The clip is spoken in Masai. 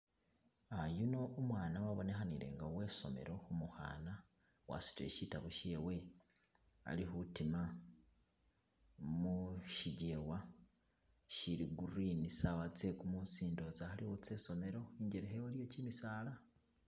Ah yuno umwana wabonekhanile nga uwesomelo umukhana wasutile sitabo shewe ali khutima mushijewa shili green sawa tse gumusi ndowoza ali khutsa isomelo injeleka waliyo kimisala.